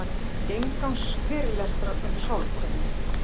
Inngangsfyrirlestrar um sálkönnun.